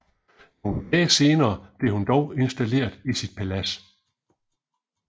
Nogle dage senere blev hun dog installeret i sit palads